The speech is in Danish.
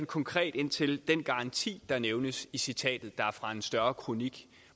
konkret ind til den garanti der nævnes i citatet der er fra en større kronik